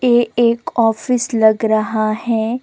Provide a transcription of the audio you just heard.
ये एक ऑफिस लाग रहा है।